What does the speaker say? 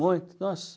Muito, nossa.